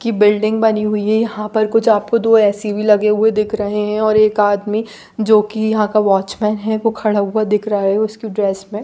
की बिल्डिंग भी बनी हुई है यहाँ पर कुछ आपको दो ए_सी भी लगे हुए दिख रहे है और एक आदमी जो की यहाँ का वॉचमन है वो खड़ा हुआ दिख रहा है उसकी ड्रेस मे--